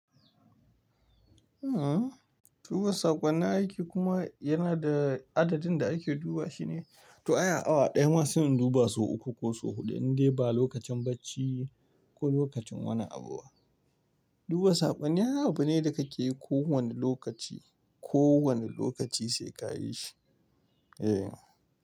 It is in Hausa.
Duba saƙonin aiki kuma yana da adadin da ake duba shine. To ai a awa ɗaya ma sai in duba sau uku ko sau huɗu in dai ba lokacin bacci ko lokacin wani abu ba. Duba saƙonni ai abu ne da kake yi ko wana lokaci, ko wana lokaci sai ka yi shi. Eh.